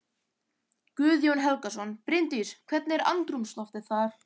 Guðjón Helgason: Bryndís, hvernig er andrúmsloftið þar?